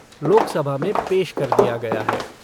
लोकसभा में पेश कर दिया गया है।